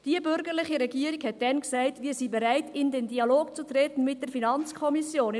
Die bürgerliche Regierung sagte damals: «Wir sind bereit, in den Dialog zu treten mit der Finanzkommission.